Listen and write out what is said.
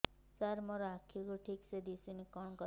ସାର ମୋର ଆଖି କୁ ଠିକସେ ଦିଶୁନି କଣ କରିବି